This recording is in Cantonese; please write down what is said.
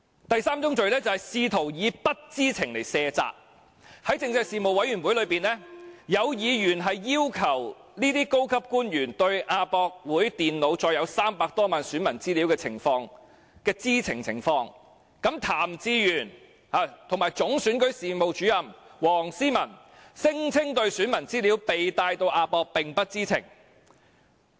第三宗罪是試圖以不知情來卸責，在政制事務委員會會議上，有議員要求這些高級官員解釋對亞博館電腦載有300多萬名選民資料的知情情況，譚志源及總選舉事務主任黃思文聲稱對選民資料被帶到亞博館並不知情。